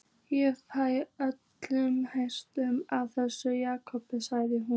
Ég fæ lömun í hendurnar af þessu, Jakob, sagði hún.